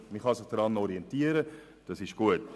Man kann sich daran orientieren, das ist gut.